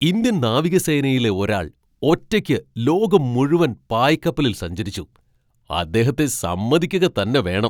Indian നാവികസേനയിലെ ഒരാൾ ഒറ്റയ്ക്ക് ലോകം മുഴുവൻ പായ്ക്കപ്പലിൽ സഞ്ചരിച്ചു, അദ്ദേഹത്തെ സമ്മതിക്കുക തന്നെ വേണം!